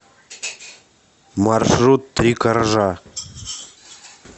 маршрут три коржа